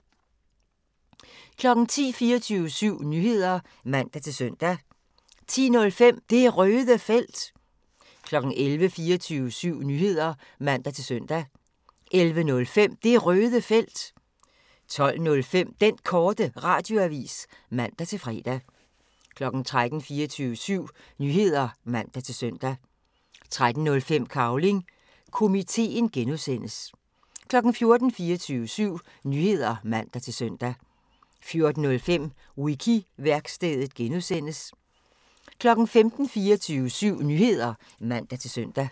10:00: 24syv Nyheder (man-søn) 10:05: Det Røde Felt 11:00: 24syv Nyheder (man-søn) 11:05: Det Røde Felt 12:05: Den Korte Radioavis (man-fre) 13:00: 24syv Nyheder (man-søn) 13:05: Cavling Komiteen (G) 14:00: 24syv Nyheder (man-søn) 14:05: Wiki-værkstedet (G) 15:00: 24syv Nyheder (man-søn)